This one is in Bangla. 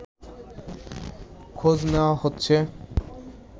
খোঁজ নেয়া হচ্ছে